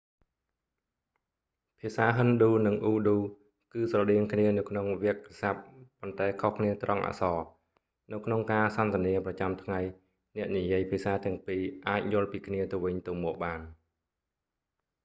ភាសាហិណ្ឌូ និងអ៊ូឌូ គឺស្រដៀងគ្នានៅក្នុងវាក្យស័ព្ទ ប៉ុន្តែខុសគ្នាត្រង់អក្សរ នៅក្នុងការសន្ទនាប្រចាំថ្ងៃអ្នកនិយាយភាសាទាំងពីរអាចយល់ពីគ្នាទៅវិញទៅមកបាន